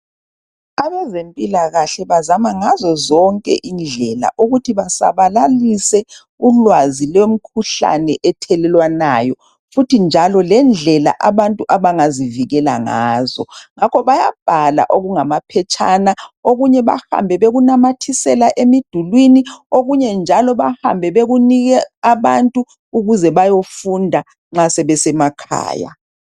Abezempilakahle bazama ngazozonke indlela ukuthi basabalalise ulwazi lwemikhuhlane ethelelwanayo lendlela abantu abangazivikela ngazo. Ngakho bayabhala amaphetshana okunye bahambe bekunamathisela emidulini okunye bayakupha abantu ukuthi bayefunda sebesemakhaya.